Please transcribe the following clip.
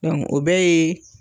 o bɛɛ yee